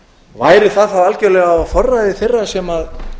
væri það þá algjörlega á forræði þeirra sem